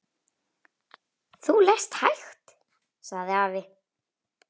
Þú lest hægt, sagði afi.